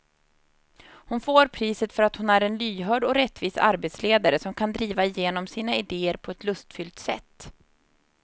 Hon får priset för att hon är en lyhörd och rättvis arbetsledare som kan driva igenom sina idéer på ett lustfyllt sätt.